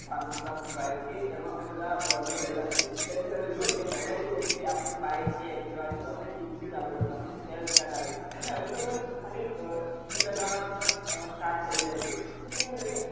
નહામૂ પ્રતાપ ભાઈ કે એમાં એ બધા problem રહેલા છે કમ કે તમે જોવોને પેલા કેવું હતું કે આપડે bike કે એકટીવા હતી તે કિક થી ચાલુ કરતા પછી cell start આવ્યું અને હવે તો બસ key લાગવા થી પણ start થઇ જાય છે તો કેવું છે કે